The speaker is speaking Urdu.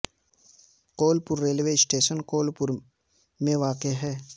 کول پور ریلوے اسٹیشن کول پور میں واقع ہے